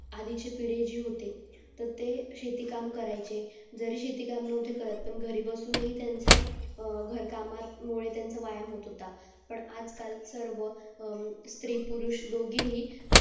आधीच्या पुडेजीहोते त ते शेती काम करायचे जर शेती काम नव्हते करत तर घरी बसूनही त्याचा घरकामत मुळे त्यांच्या व्यायाम होत होता पण आज काल सर्व स्री पुरुष दोघेही